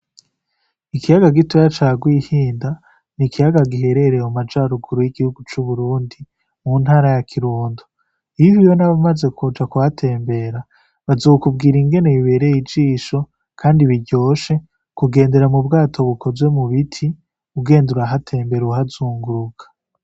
Ikiyaga gitoya ca Rwihinda, ni ikiyaga giherereye mu majaruguru y'igihugu c'Uburundi, mu ntara ya Kirundo. Iyo uhuye n'abamaze kuhatembera, bazokubwira ingene bibereye ijisho, kandi biryoshe kugendera mu bwato bukozwe mu biti, ugenda urahatembera uhazunguruka.